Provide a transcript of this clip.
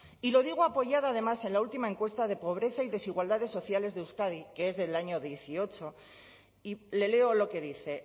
y lo digo apoyada además en la última encuesta de pobreza y desigualdades sociales de euskadi que es del año dieciocho y le leo lo que dice